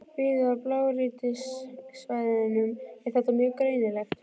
Víða á blágrýtissvæðunum er þetta mjög greinilegt.